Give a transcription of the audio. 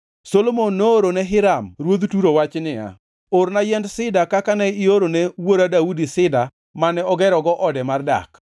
Solomon noorone Hiram ruodh Turo wach niya, “Orna yiend sida kaka ne iorone wuora Daudi sida mane ogerogo ode mar dak.